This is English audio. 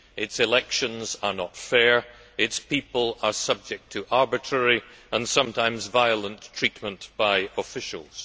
Its elections are not fair. Its people are subject to arbitrary and sometimes violent treatment by officials.